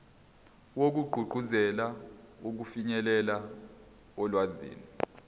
wokugqugquzela ukufinyelela olwazini